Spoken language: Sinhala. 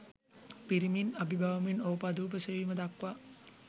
පිරිමින් අභිබවමින් ඕපාදූප සෙවීම දක්වා